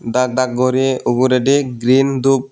Dak Dak guri ugurendi green dup.